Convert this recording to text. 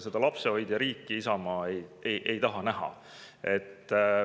Seda lapsehoidjariiki Isamaa ei taha näha.